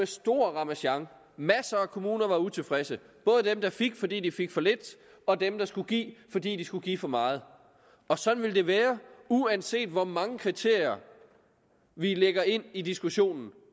stor ramasjang masser af kommuner var utilfredse både dem der fik fordi de fik for lidt og dem der skulle give fordi de skulle give for meget og sådan vil det være uanset hvor mange kriterier vi lægger ind i diskussionen